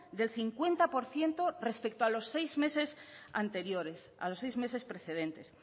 del cincuenta por ciento respecto a los seis meses anteriores a los seis meses precedentes